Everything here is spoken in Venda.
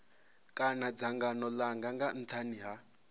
kha dzangano langa nga nthani